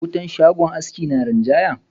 Wutan shagon haski na rinjaya.